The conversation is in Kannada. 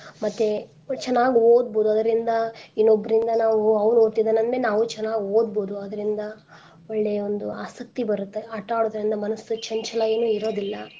ಮತ್ತೆ ಚನಾಗ್ ಓದ್ಬೋದು ಅದ್ರಿಂದ ಇನ್ನೊಬ್ಬರಿಂದ ನಾವು ಅವ್ನ ಓದ್ತಿದಾನಂದ್ ಮೇಲೆ ನಾವು ಚನಾಗ್ ಓದ್ಬೋದು ಅದರಿಂದ ಒಳ್ಳೆ ಒಂದು ಆಸಕ್ತಿ ಬರುತ್ತೆ ಆಟಾ ಆಡೋದ್ರಿಂದ ಮನಸ್ಸು ಚಂಚಲ ಏನೂ ಇರೋದಿಲ್ಲಾ.